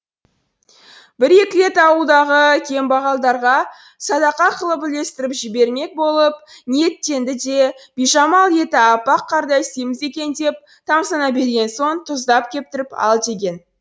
бір екі рет ауылдағы кембағалдарға садақа қылып үлестіріп жібермек болып ниеттенді де бижамал еті әппақ қардай семіз екен деп тамсана берген соң тұздап кептіріп ал деген